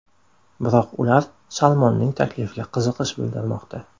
Biroq ular Salmonning taklifiga qiziqish bildirmoqda.